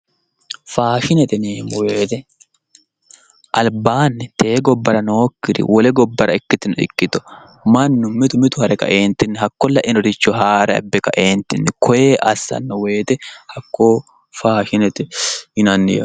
Faashinete yineemowete albaani tee gobbara nookiri wole gobbara ikitino ikkiro mannu mitu mitu harre kaenitin hakko lainoricho haare abe kaentin koye asano woyite fashinete yinay